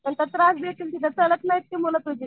नंतर त्रास देतील ती चालत नाहीत मुलं तुझी.